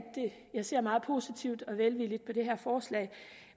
jeg ser meget positivt og velvilligt på det her forslag